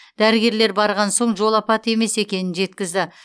дәрігерлер барған соң жол апаты емес екенін жеткізді